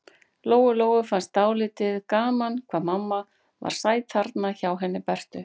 Lóu-Lóu fannst dálítið gaman hvað mamma var sæt þarna hjá henni Bertu.